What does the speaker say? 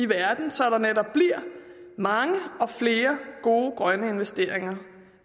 verden så der netop bliver mange og flere gode grønne investeringer